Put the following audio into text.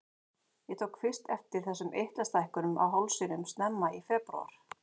Ég tók fyrst eftir þessum eitlastækkunum á hálsinum snemma í febrúar.